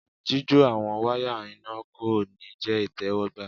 jijo àwọn waya iná ko ní jẹ itẹwọgbà